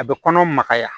A bɛ kɔnɔ magaya